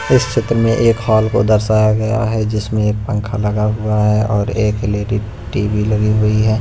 इस क्षेत्र में एक हॉल को दर्शाया गया है जिसमें एक पंखा लगा हुआ है और एक लेडी टी_वी लगी हुई है।